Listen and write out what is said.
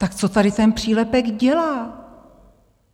Tak co tady ten přílepek dělá?